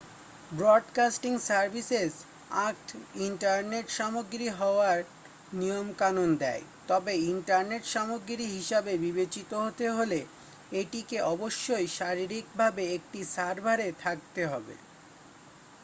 broadcasting services act internet সামগ্রী হওয়ার নিয়মকানুন দেয় তবে ইন্টারনেট সামগ্রী হিসাবে বিবেচিত হতে হলে এটিকে অবশ্যই শারীরিকভাবে একটি সার্ভারে থাকতে হবে